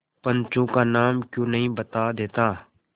पंचों का नाम क्यों नहीं बता देता